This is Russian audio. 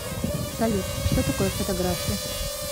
салют что такое фотография